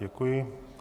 Děkuji.